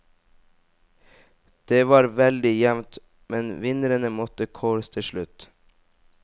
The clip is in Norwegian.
Det var veldig jevnt, men vinnerne måtte kåres til slutt.